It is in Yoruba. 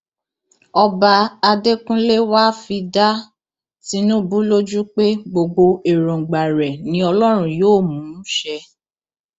ọba adẹkúnlẹ wàá fi dá tinubu lójú pé gbogbo èròǹgbà rẹ ni ọlọrun yóò mú ṣẹ